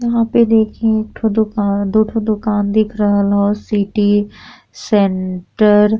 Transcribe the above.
यहाँँ पे देखी एक ठो दुकान दुठो दुकान दिख रहल हौ सिटी सेंटर --